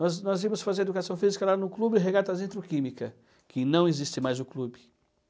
Nós íamos fazer educação física lá no clube Regatas Introquímica, que não existe mais o clube.